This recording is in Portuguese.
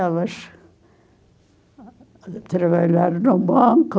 Elas trabalharam no banco,